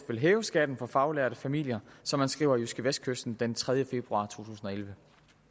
vil hæve skatten for faglærte familier som han skriver i jydskevestkysten den tredje februar 2011